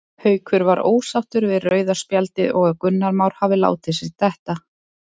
Haukur var ósáttur við rauða spjaldið og að Gunnar Már hafi látið sig detta.